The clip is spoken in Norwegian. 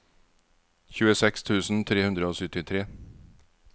tjueseks tusen tre hundre og syttitre